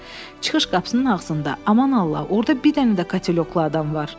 Çıxış qapısının ağzında, aman Allah, orda bir dənə də katelyoklu adam var!